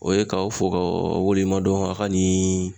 O ye ka o fo k'a waleɲuman dɔn a ka ni